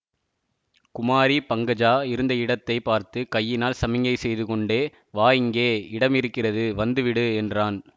குமாரி பங்கஜா இருந்த இடத்தை பார்த்து கையினால் சமிக்ஞை செய்து கொண்டே வா இங்கே இடம் இருக்கிறது வந்து விடு என்றான்